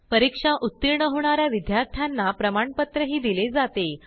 परीक्षा उत्तीर्ण होणा या विद्यार्थ्यांना प्रमाणपत्रही दिले जाते